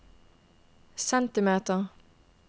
centimeters